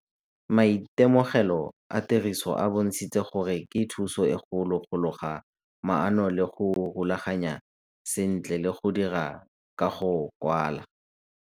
Maitemogelo a tiriso a bontshitse gore ke thuso e kgolo go loga maano le go rulaganya sentle le go dira ka go kwala.